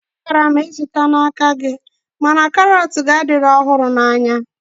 A kara m izụta n'aka gị mana karọt gị adịghị ọhụrụ na anya